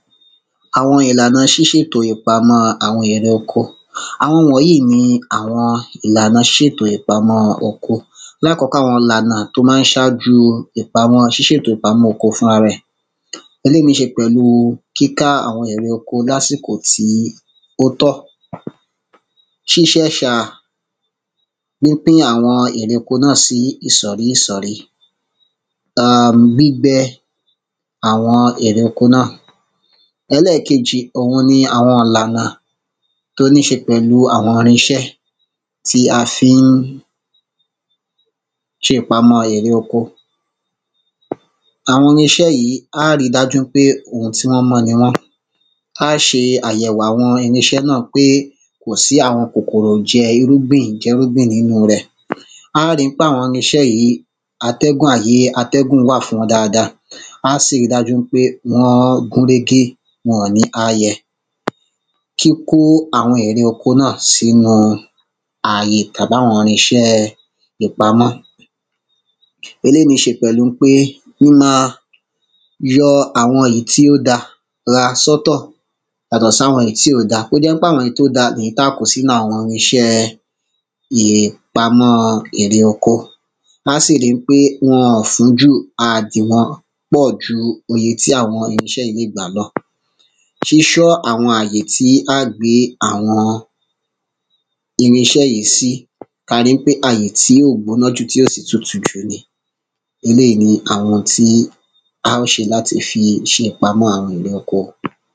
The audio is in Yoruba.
Àwọn ìlànà ṣíṣètò ìpamọ́ àwọn èrè oko Àwọn wọ̀nyìí ni àwọn ìlànà ṣíṣétò ìpamọ́ oko Lákọ́kọ́ àwọn ìlànà tí ó ma ń ṣájú ìpamọ́ ṣíṣètò ìpamọ́ oko fúnrara ẹ̀ Eléyì níí ṣe pẹ̀lú kíká àwọn èrè oko lásìkò tí ó tọ́ Ṣíṣa ẹ̀sà pínpín àwọn èrè oko náà sí ìsọ̀rí ìsọ̀rí um gbígbé àwọn èrè oko náà Ẹlẹ́ẹ̀kejì òun ni àwọn ìlànà tí ó níí ṣe pẹ̀lú àwọn irinṣé tí a fi ń ṣe ìpamọ́ èrè oko Àwọn irín iṣé yìí à á ri dájú ń pé oun tí wọ́n mọ́ ni wọ́n À á ṣe àyèwò àwọn irinṣẹ́ náà pé kò sí àwọn kòkòrò jẹ irúgbìn jẹ irúgbìn nínú rẹ̀ À á ri ń pé àwọn irinṣẹ́ yìí atẹ́gùn ààyè atẹ́gùn wà fún wọn dáadáa À á sì ri dájú ń pé wọ́n gúnrégé wọ́n ò ní ààyẹ Kíkó àwọn èrè oko náà sínú àyè tàbí àwọn irinṣẹ́ ìpamọ́ Eléyì níí ṣe pẹ̀lú ń pé mímáa yọ àwọn ìyí tí ó da sọ́tọ̀ yàtọ̀ sí àwọn ìyí tí ó da kí ó jẹ́ ń pé àwọn ìyí tí ò da ìyí tí a kó sínú àwọn irinṣẹ́ ìpamọ́ èrè oko À á sì ri ń pé wọn ò fún jù a à dì wọ́n pọ̀ ju iye tí àwọn irinṣẹ́ yìí lè gbà lọ Ṣíṣọ àwọn àyè tí á gbìn àwọn irinṣẹ́ yìí sí Kí a rí ń pé àyè tí ò gbóná jù tí ò sì tutù jù ni Eléyì ni àwọn oun tí a óò ṣe láti fi ṣe ìpamọ́ àwọn èrè oko